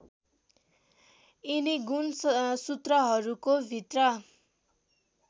यिनी गुणसूत्रहरूको भित्र